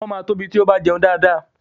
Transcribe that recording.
Ọmọ máa tóbi tí ó bá jẹun dáadáa.